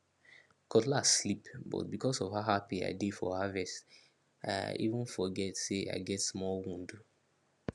cutlass slip but because of how happy i dey for harvest i even forget say i get small wound